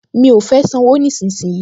Mi ò fẹ́ sanwó nísinsìnyí